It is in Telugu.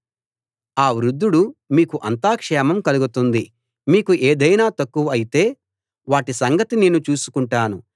ఆ వృద్ధుడు మీకు అంతా క్షేమం కలుగుతుంది మీకు ఏదైనా తక్కువ అయితే వాటి సంగతి నేను చూసుకుంటాను